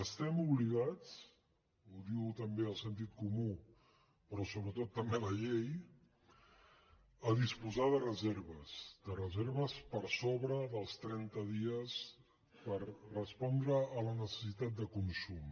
estem obligats ho diu també el sentit comú però sobretot també la llei a disposar de reserves de reserves per sobre dels trenta dies per respondre a la necessitat de consum